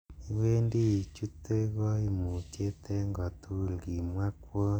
'Iwendi ichute koimutiet en kotugul,'' Kimwo kwony.